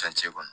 Fɛncɛ kɔnɔ